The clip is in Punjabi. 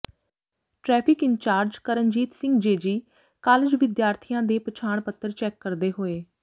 traffic incharge Karanjit Singh JG college ਵਿਦਿਆਰਥੀਆਂ ਦੇ ਪਛਾਣ ਪੱਤਰ ਚੈੱਕ ਕਰਦੇ ਹੋਏ